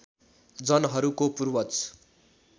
जनहरूको पूर्वज